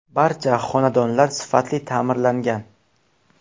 Barcha xonadonlar sifatli ta’mirlangan.